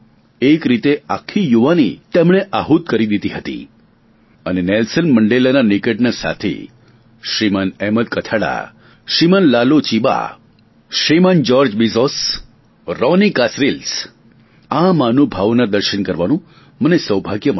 એક રીતે આખી યુવાની તેમણે આહુત કરી દીધી હતી અને નેલ્શન મંડેલાના નિકટના સાથી Shriman Ahmed Kathrada Shriman Laloo Chiba Shriman George બેજોરી રોની કાસરીલ્સ આ મહાનુભાવોના દર્શન કરવાનું મને સૌભાગ્ય મળ્યું